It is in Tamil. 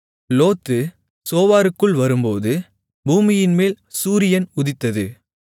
லோத்து சோவாருக்குள் வரும்போது பூமியின்மேல் சூரியன் உதித்தது